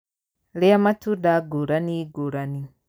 Rĩa matunda ngũrani ngũrani.